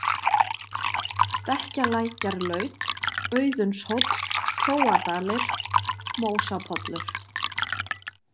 Stekkjalækjarlaut, Auðunshóll, Kjóadalir, Mósapollur